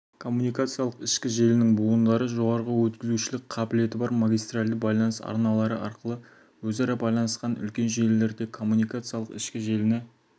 коммуникациялық ішкі желінің буындары жоғары өткізушілік қабілеті бар магистралды байланыс арналары арқылы өзара байланысқан үлкен желілерде коммуникациялық ішкі желіні